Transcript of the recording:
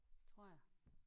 Tror jeg